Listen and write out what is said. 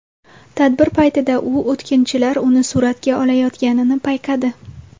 Tadbir paytida u o‘tkinchilar uni suratga olayotganini payqadi.